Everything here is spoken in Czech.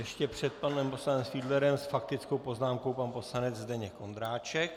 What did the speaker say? Ještě před panem poslancem Fiedlerem s faktickou poznámkou pan poslanec Zdeněk Ondráček.